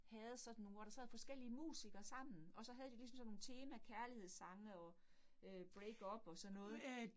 Havde sådan nogle, hvor der sad forskellige musikere sammen, og så havde de ligesom sådan nogle tema kærlighedssange og øh breakup og så noget